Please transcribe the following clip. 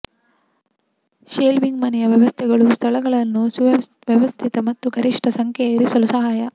shelving ಮನೆಗೆ ವ್ಯವಸ್ಥೆಗಳು ಸ್ಥಳಗಳನ್ನು ವ್ಯವಸ್ಥಿತ ಮತ್ತು ಗರಿಷ್ಟ ಸಂಖ್ಯೆಯ ಇರಿಸಲು ಸಹಾಯ